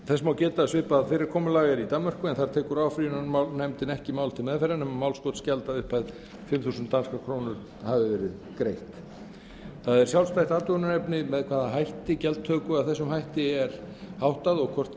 þess má geta að svipað fyrirkomulag er í danmörku en þar tekur áfrýjunarnefndin ekki mál til meðferðar nema málskotsgjald að upphæð fimm þúsund danskar krónur hafi verið greitt það er sjálfstætt athugunarefni með hvaða hætti gjaldtöku af þessu tagi er háttað og hvort